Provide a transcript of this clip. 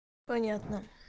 понятно